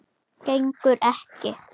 Gengur ekki.